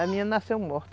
A menina nasceu morta.